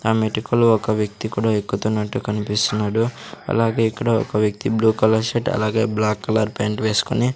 ఆ మెటుకులు ఒక వ్యక్తి కుడ ఎక్కుతున్నట్టు కనిపిస్తున్నాడు అలాగే ఇక్కడ ఒక వ్యక్తి బ్లూ కలర్ షర్ట్ అలాగే బ్లాక్ కలర్ ప్యాంట్ వేసుకొని--